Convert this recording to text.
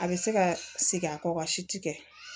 A bɛ se ka segin a kɔ ka si tɛ kɛ